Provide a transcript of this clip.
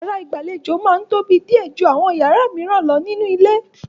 Yàrá ìgbàlejò máa ń tóbi díẹ̀ ju àwọn yàrá mìíràn lọ nínú ilé.